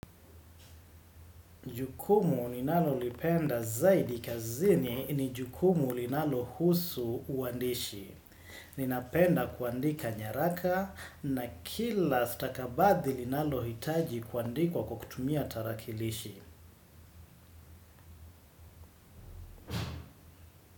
Jukumu ninalo lipenda zaidi kazini ni jukumu linalo husu uandishi. Ninapenda kuandika nyaraka na kila stakabathi linalo hitaji kuandikwa kwa kukutumia tarakilishi.